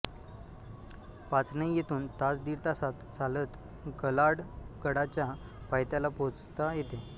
पाचनई येथून तास दीडतासात चालत कलाडगडाच्या पायथ्याला पोहोचता येते